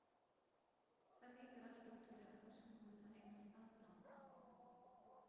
Það lítur út fyrir að þú sért búin að eignast aðdáanda!